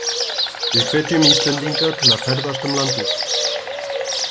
Við hvetjum Íslendinga til að ferðast um landið sitt.